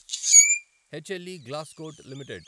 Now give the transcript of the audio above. HLE Glascoat limited